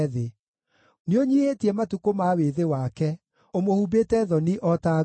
Nĩũnyiihĩtie matukũ ma wĩthĩ wake; ũmũhumbĩte thoni o ta nguo.